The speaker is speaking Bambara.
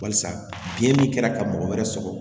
Balisa biɲɛ min kɛra ka mɔgɔ wɛrɛ sɔrɔ